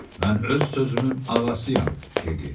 Mən öz sözümün ağasıyam, dedi.